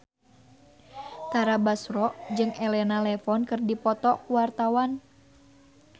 Tara Basro jeung Elena Levon keur dipoto ku wartawan